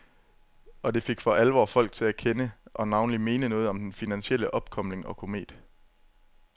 Og det fik for alvor folk til at kende, og navnlig mene noget om den finansielle opkomling og komet.